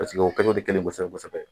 u kɛcogow tɛ kelen ye kosɛbɛ kosɛbɛ